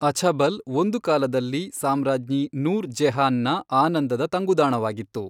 ಅಛಬಲ್ ಒಂದು ಕಾಲದಲ್ಲಿ ಸಾಮ್ರಾಜ್ಞಿ ನೂರ್ ಜೆಹಾನ್ ನ ಆನಂದದ ತಂಗುದಾಣವಾಗಿತ್ತು.